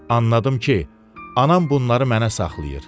Anladım ki, anam bunları mənə saxlayır.